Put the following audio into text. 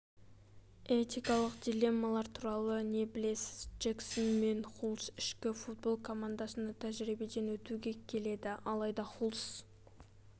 этикалық дилеммалар туралы не білесіз джексон мен хулс ішкі футбол командасына тәжірибеден өтуге келеді алайда хулс